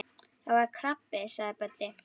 Það var krabbi sagði Böddi.